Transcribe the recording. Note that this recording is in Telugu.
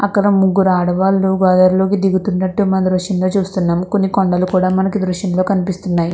అక్కడ ముగ్గురు ఆడవాళ్లు గోదారిలోకి దిగుతున్నట్టు మన మీ దృశ్యంలో చూస్తున్నాము. కొన్ని కొండలు కూడా మనకీ దృశ్యంలో కనిపిస్తున్నాయి.